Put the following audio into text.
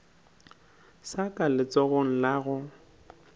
sa ka letsogong la go